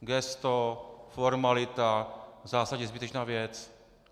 Gesto, formalita, v zásadě zbytečná věc.